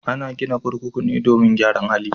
Ana gina kurkuku ne domin gyaran hali.